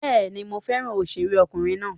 Bẹ́ẹ̀ni, mo fẹ́ràn òṣèré ọkùnrin náà.